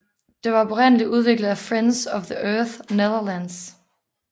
Det var oprindeligt udviklet af Friends of the Earth Netherlands